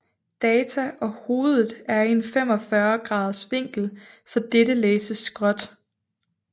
Data og hovedet er i en 45 graders vinkel så dette læses skråt